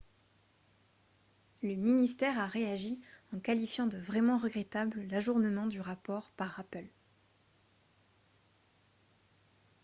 le ministère a réagi en qualifiant de « vraiment regrettable » l'ajournement du rapport par apple